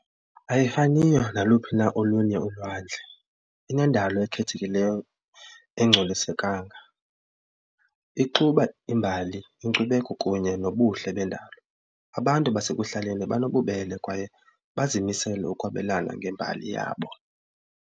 Ayifaniyo naluphi na olunye ulwandle, inendalo ekhethekileyo engcolisekanga ixuba imbali inkcubeko kunye nobuhle bendalo. Abantu basekuhlaleni banobubele kwaye bazimisele ukwabelana ngembali yabo.